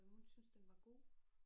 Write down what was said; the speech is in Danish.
Hun synes den var god